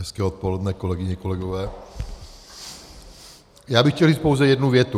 Hezké odpoledne, kolegyně, kolegové, já bych chtěl říct pouze jednu větu.